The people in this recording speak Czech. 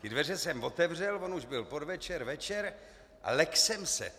Ty dveře jsem otevřel, on už byl podvečer, večer, a lekl jsem se.